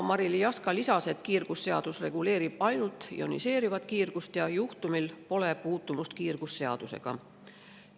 Marily Jaska lisas, et kiirgusseadus reguleerib ainult ioniseerivat kiirgust ja juhtumil pole puutumust kiirgusseadusega.